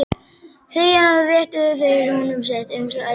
Þegjandi réttu þeir honum sitt umslagið hvor.